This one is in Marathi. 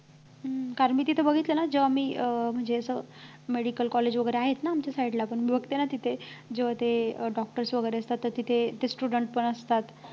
हम्म कारण मी तिथं बघितलं ना जेव्हा मी अं म्हणजे असं medical college वगैरे आहेत ना आमच्या side ला पण बघते ना तिथे जेव्हा ते doctors वगैरे असतात तिथे student पण असतात